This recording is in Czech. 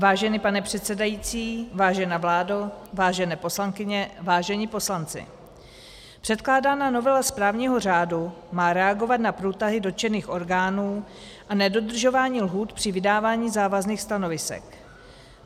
Vážený pane předsedající, vážená vládo, vážené poslankyně, vážení poslanci, předkládaná novela správního řádu má reagovat na průtahy dotčených orgánů a nedodržování lhůt při vydávání závazných stanovisek.